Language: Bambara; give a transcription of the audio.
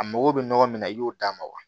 A mago bɛ nɔgɔ min na i y'o d'a ma wa